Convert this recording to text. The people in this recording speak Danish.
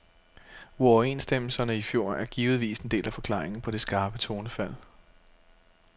Uoverenstemmelserne i fjor er givetvis en del af forklaringen på det skarpe tonefald.